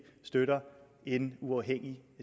støtter en uafhængig